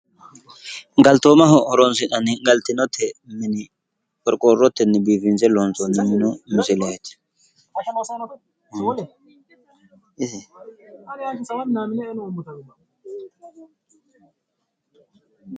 Galtoomaho horonsi'nanni galtinote mine qorqorrotenn biiffinse iloonsoonni minu misileeti.